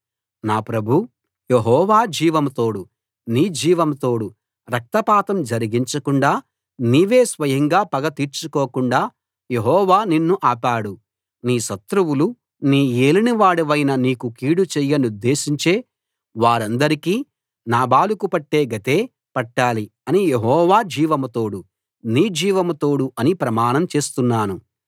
నా ప్రభూ యెహోవా జీవం తోడు నీ జీవం తోడు రక్తపాతం జరిగించకుండా నీవే స్వయంగా పగ తీర్చుకోకుండా యెహోవా నిన్ను ఆపాడు నీ శత్రువులు నా యేలినవాడవైన నీకు కీడు చేయనుద్దేశించే వారందరికీ నాబాలుకు పట్టే గతే పట్టాలి అని యెహోవా జీవం తోడు నీ జీవం తోడు అని ప్రమాణం చేస్తున్నాను